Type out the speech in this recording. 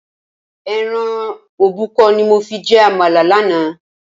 Ẹran òbúkọ ni mo fi jẹ àmàlà lánàá.